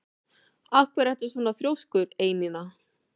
Af hverju ertu svona þrjóskur, Einína?